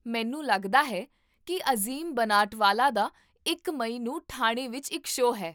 ਮੈਨੂੰ ਲੱਗਦਾ ਹੈ ਕੀ ਅਜ਼ੀਮ ਬਨਾਟਵਾਲਾ ਦਾ ਇੱਕੀ ਮਈ ਨੂੰ ਠਾਣੇ ਵਿੱਚ ਇੱਕ ਸ਼ੋਅ ਹੈ